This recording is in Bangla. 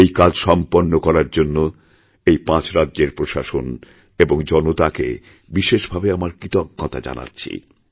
এই কাজ সম্পন্ন করার জন্য এই পাঁচরাজ্যের প্রশাসন এবং জনতাকে বিশেষভাবে আমার কৃতজ্ঞতা জানাচ্ছি